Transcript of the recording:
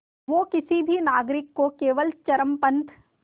वो किसी भी नागरिक को केवल चरमपंथ